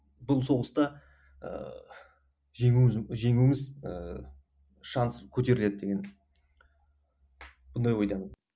бұл соғыста ыыы жеңуіміз жеңуіміз ііі шанс көтеріледі деген сондай ойдамын